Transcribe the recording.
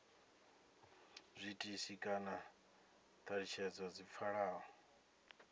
zwiitisi kana thalutshedzo dzi pfalaho